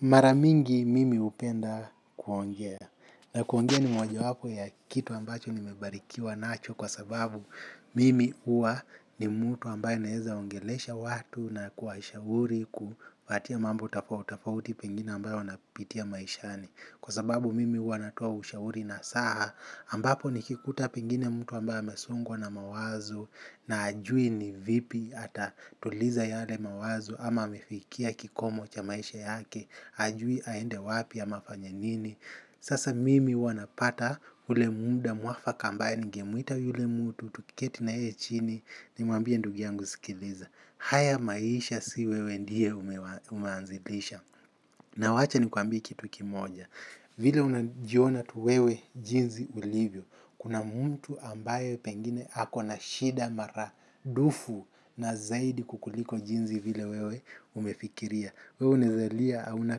Maramingi mimi hupenda kuongea na kuongea ni moja wapo ya kitu ambacho ni mebarikiwa nacho kwa sababu mimi huwa ni mtu ambaye naeza ongelesha watu na kuwashauri kuwapatia mambo tofauti tofauti pengine ambayo wanapitia maishani. Kwa sababu mimi huwa natoa ushauri na saa ambapo nikikuta pengine mtu ambae amesongwa na mawazo na ajui ni vipi ata tuliza yale mawazo ama amefikia kikomo cha maisha yake ajui haende wapi ama afanye nini. Sasa mimi huwa napata ule muda mwafaka ambaye ningemwita yule mtu tuketi naye chini ni mwambie ndugu yangu sikiliza. Haya maisha siwewe ndiye umeanzilisha na wacha nikuambie kitu kimoja. Vile unajiona tu wewe jinzi ulivyo. Kuna mtu ambaye pengine ako na shida mara dufu na zaidi kukuliko jinzi vile wewe umefikiria. Wewe unaeza lia hauna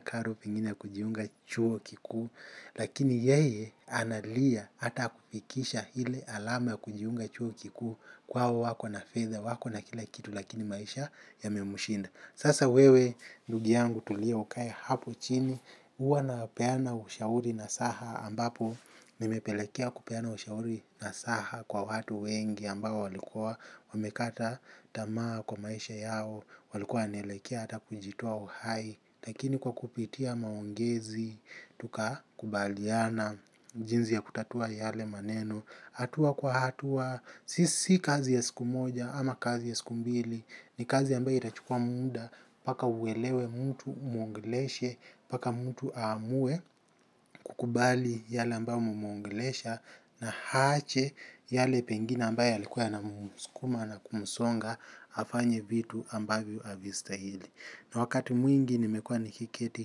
karo pengine ya kujiunga chuo kikuu. Lakini yeye analia ata kufikisha hile alama kujiunga chuo kikuu kwao wako na fedha wako na kila kitu lakini maisha yamemushinda. Sasa wewe ndugu yangu tulia ukae hapo chini huwa napeana ushauri nasaha ambapo nimepelekea kupeana ushauri nasaha kwa watu wengi ambao walikua wamekata tamaa kwa maisha yao walikua wanaelekea ata kujitoa uhai lakini kwa kupitia maongezi, tuka kubaliana, jinzi ya kutatua yale maneno, hatua kwa hatua, sisi kazi ya siku moja ama kazi ya siku mbili, ni kazi ambayo itachukua muda, mpaka uwelewe mtu umwongleshe, mpaka mtu amue kukubali yale ambayo umemwongesha, na ahache yale pengine ambayo yalikuwa yana muskuma na kumsonga, afanye vitu ambayo havistahili. Wakati mwingi nimekua ni kiketi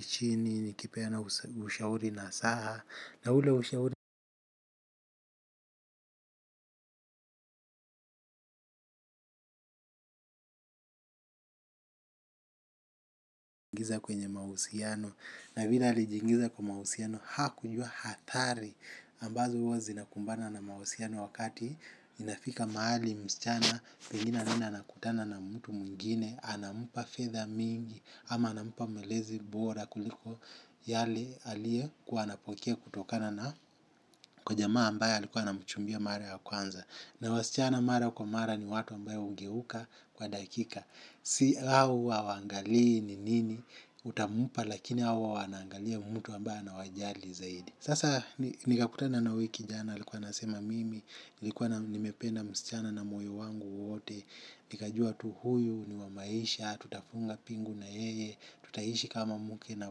chini nikipeana ushauri nasaha na ule ushauri kujiingiza kwenye mahusiano na vile alijiingiza kwa mahusiano hakujua hatari ambazo huwa zinakumbana na mahusiano wakati inafika mahali msichana pengine anaenda anakutana na mtu mwingine anampa fedha mingi ama anampa malezi bora kuliko yale aliye kuwa anapokea kutokana na kwa jamaa ambaye alikuwa anamchumbia mara ya kwanza. Na wasichana mara kwa mara ni watu ambayo ungeuka kwa dakika. Hao huwa hawaangali ni nini utampa lakini hao huwa wanaangalia mtu ambaye anawajali zaidi. Sasa nikakutana na uyu kijana alikuwa anasema mimi, nilikuwa nimependa msichana na moyo wangu wote. Nikajua tu huyu, ni wamaisha, tutafunga pingu na yeye, tutaishi kama muke na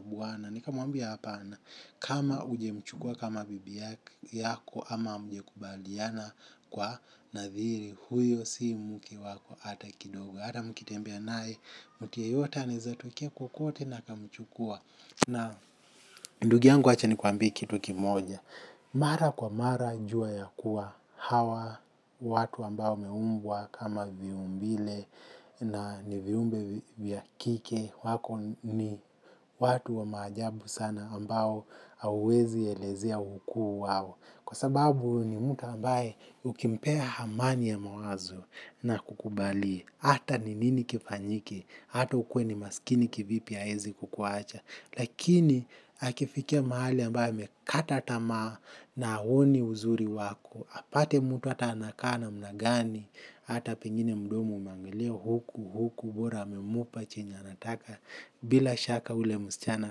buwana. Nikamuambia hapana, kama ujemchukua kama bibi yako ama mjekubaliana kwa nadhiri. Huyo si muke wako ata kidogo, ata mkitembea naye, muti yeyote anaezatokea kokote na akamchukua. Na ndugi yangu wacha ni kuambie kitu kimoja. Mara kwa mara jua ya kuwa hawa watu ambao wameumbwa kama viumbile na ni viumbe vyakike wako ni watu wa maajabu sana ambao hauwezi elezea ukuu wao. Kwa sababu ni mtu ambaye ukimpea hamani ya mawazo na akukubaliye. Hata ni nini kifanyike. Hata ukuwe ni maskini kivipi haezi kukuacha. Lakini akifikia mahali ambaye amekata tamaa na aoni uzuri wako. Apate mutu ata anakaa namna gani. Hata pengine mdomo umeangilia huku huku bora amemupa chenye anataka. Bila shaka ule muschana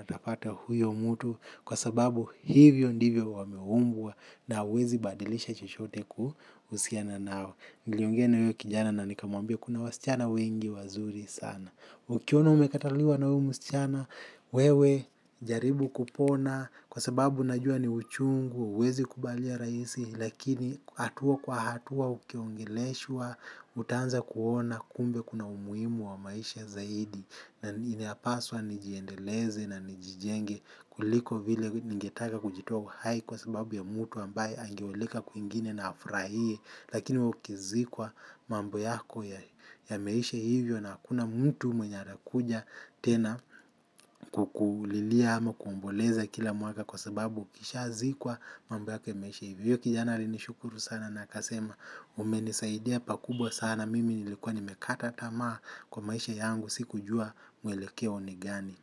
atapata huyo mutu. Kwa sababu hivyo ndivyo wameumbwa na uwezi badilisha chochote kuhusiana nao. Niliongea na uyo kijana na nikamwambia kuna wasichana wengi wazuri sana. Ukiona umekataliwa na uyo musichana, wewe jaribu kupona kwa sababu najua ni uchungu, hauwezi kubalia raisi lakini hatua kwa hatua ukiongeleshwa, utaanza kuona kumbe kuna umuimu wa maisha zaidi. Na inapaswa nijiendeleze na nijijenge kuliko vile ningetaka kujitoa uhai kwa sababu ya mtu ambaye angeoleka kuingine na afraie lakini wewe ukizikwa mambo yako ya meisha hivyo na hakuna mtu mwenya anakuja tena kukulilia ama kuomboleza kila mwaka kwa sababu ukishazikwa mambo yako imeisha hivyo kijana ari nishukuru sana na akasema mumenisaidia pakubwa sana. Na mimi nilikuwa nimekata tamaa kwa maisha yangu si kujua mwelekeo ni gani.